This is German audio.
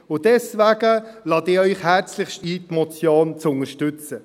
Und deswegen lade ich Sie herzlichst ein, die Motion zu unterstützen.